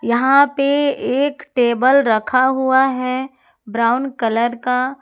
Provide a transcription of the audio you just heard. यहां पे एक टेबल रखा हुआ है ब्राउन कलर का।